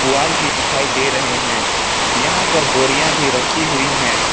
पुआल भी दिखाई दे रहे हैं यहां पर बोरियां भी रखी हुई है।